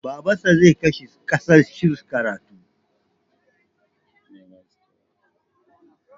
Babansa zai kai shi ƙasar Sin karatu.